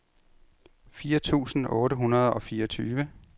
fire tusind otte hundrede og fireogtyve